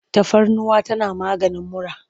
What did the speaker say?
Tafarnuwa tana maganin mura.